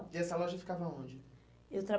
E essa loja ficava onde? Eu